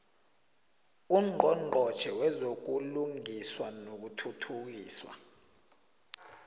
ungqongqotjhe wezobulungiswa nokuthuthukiswa